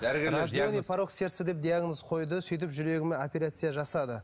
порок сердца деп диагноз қойды сөйтіп жүрегіме операция жасады